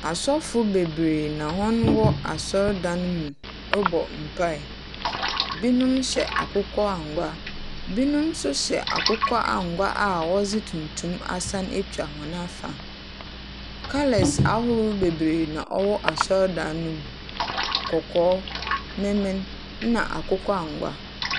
Asɔfo beberee na hɔn wɔn asordan no mu roba mpaeɛ. Binom hyɛ akokɔ angua. Binom nso hyɛ akokɔ angya a wɔdze tuntun asan atwa hɔn afa. Colour ahorwo beree na ɔwɔ asordan no mu. Kɔkɔɔ, mmemmen, na akokɔ angua.